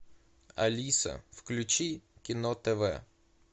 алиса включи кино тв